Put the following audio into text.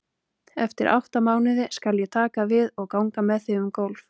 En eftir átta mánuði skal ég taka við og ganga með þig um gólf.